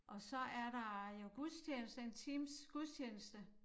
Og så er der jo gudstjeneste en times gudstjeneste